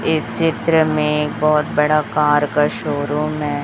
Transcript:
इस चित्र में एक बहोत बड़ा कार का शोरूम है।